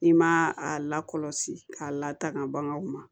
I ma a lakɔlɔsi k'a lataaga baganw ma